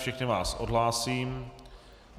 Všechny vás odhlásím.